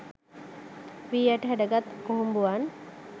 වී ඇට ඩැහැගත් කුහුඹුවන්